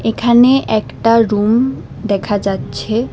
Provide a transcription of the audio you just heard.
এখানে একটা রুম দেখা যাচ্ছে।